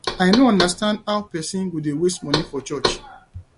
i no understand how person go dey waste money for church